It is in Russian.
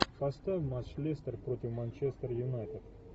поставь матч лестер против манчестер юнайтед